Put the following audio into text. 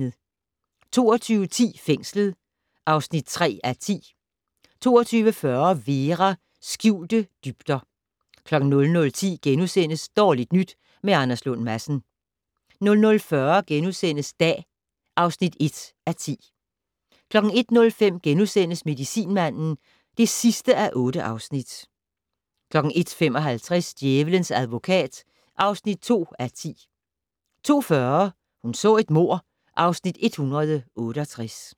22:10: Fængslet (3:10) 22:40: Vera: Skjulte dybder 00:10: Dårligt nyt med Anders Lund Madsen * 00:40: Dag (1:10)* 01:05: Medicinmanden (8:8)* 01:55: Djævelens advokat (2:10) 02:40: Hun så et mord (Afs. 168)